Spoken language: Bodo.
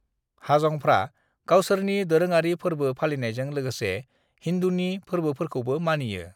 हाजंफ्रा गावसोरनि दोरोङारि फोरबो फालिनायजों लोगोसे हिंदूनि फोरबोफोरखौबो मानियो।